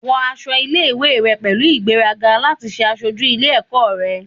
Wọ aṣọ ile-iwe rẹ pẹlu igberaga lati ṣe aṣoju ile-ẹkọ rẹ